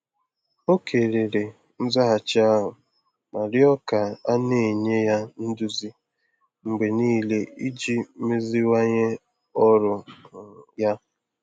Ọ kelere nzaghachi ahụ ma rịọ ka a na-enye ya nduzi mgbe niile iji meziwanye ọrụ um ya.